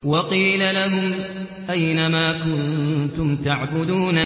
وَقِيلَ لَهُمْ أَيْنَ مَا كُنتُمْ تَعْبُدُونَ